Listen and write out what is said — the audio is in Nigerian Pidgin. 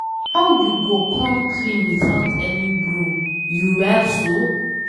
How you go come clean without any broom? You well so?